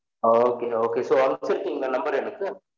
அ okay okay so அனுபிருகிகல number எனகு